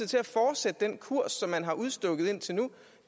til at fortsætte den kurs som man har udstukket indtil nu